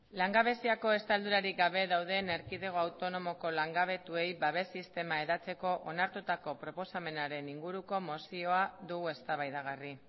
langabeziako estaldurarik gabe dauden erkidego autonomoko langabetuei babes sistema hedatzeko onartutako proposamenaren inguruko mozioa dugu eztabaidagarri